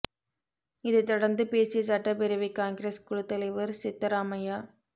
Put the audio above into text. இதைத் தொடர்ந்து பேசிய சட்டப்பேரவைக் காங்கிரஸ் குழுத் தலைவர் சித்தராமையா